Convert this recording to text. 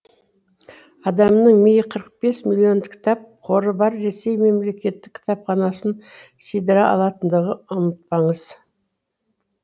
адамның миы қырық бес миллион кітап қоры бар ресей мемлекеттік кітапханасын сыйдыра алатындығын ұмытпаңыз